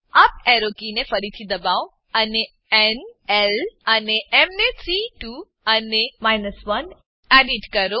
up arrow કીને ફરીથી દબાવો અને ન એલ અને એમ ને 3 2 અને 1 એડીટ કરો